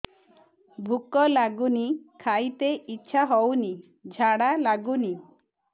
ଭୁକ ଲାଗୁନି ଖାଇତେ ଇଛା ହଉନି ଝାଡ଼ା ଲାଗୁନି